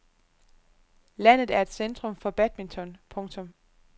Landet er et centrum for badminton. punktum